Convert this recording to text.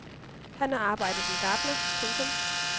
Han har arbejdet som gartner. punktum